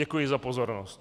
Děkuji za pozornost.